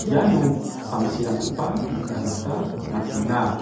iano samsirangkoba nikna gita man·enga.